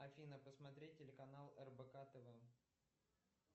афина посмотреть телеканал рбк тв